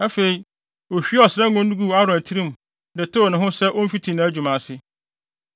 Afei, ohwiee ɔsra ngo no guu Aaron tirim de tew ne ho sɛ omfiti nʼadwuma ase.